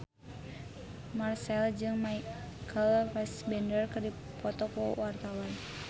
Marchell jeung Michael Fassbender keur dipoto ku wartawan